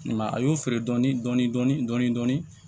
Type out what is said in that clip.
a y'o feere dɔɔnin dɔɔnin